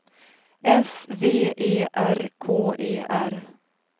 S V E R K E R